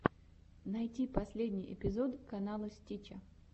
найти последний эпизод канала стича